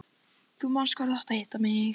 Þú manst hvar þú átt að hitta mig.